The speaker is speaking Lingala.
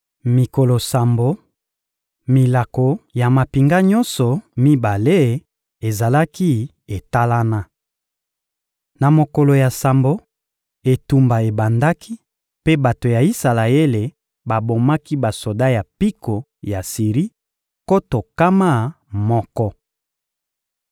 Mikolo sambo, milako ya mampinga nyonso mibale ezalaki etalana. Na mokolo ya sambo, etumba ebandaki mpe bato ya Isalaele babomaki basoda ya mpiko ya Siri nkoto nkama moko.